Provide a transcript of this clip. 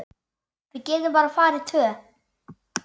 Við getum bara farið tvö.